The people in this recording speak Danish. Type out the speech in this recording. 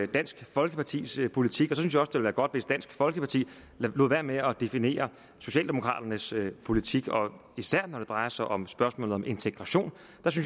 dansk folkepartis politik og så være godt hvis dansk folkeparti lod være med at definere socialdemokraternes politik især når det drejer sig om spørgsmålet om integration